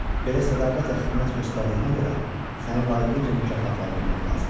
Belə sədaqətlə xidmət göstərdiyinə görə səni layiqincə mükafatlandırmaq lazımdır.